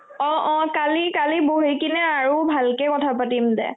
অ অ কালি কালি বহি কিনে আৰু ভালকে কথা পাতিম দে